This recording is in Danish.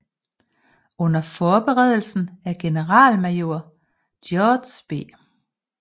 Under forberedelsen af generalmajor George B